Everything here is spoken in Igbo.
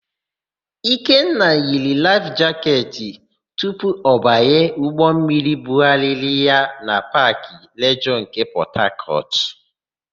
Ikenna yiri laịf jaketị tupu ọ banye ụgbọmmiri mbugharị na Paakị Plejọọ nke Pọtakọtụ.